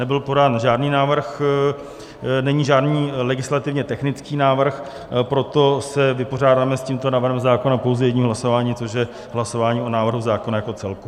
Nebyl podán žádný návrh, není žádný legislativní technický návrh, proto se vypořádáme s tímto návrhem zákona pouze jedním hlasováním, což je hlasování o návrhu zákona jako celku.